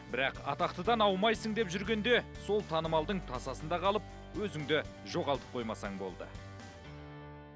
бірақ атақтыдан аумайсың деп жүргенде сол танымалдың тасасында қалып өзіңді жоғалтып қоймасаң болды